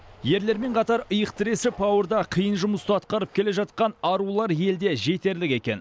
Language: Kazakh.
ерлермен қатар иық тіресіп ауыр да қиын жұмысты атқарып келе жатқан арулар елде жетерлік екен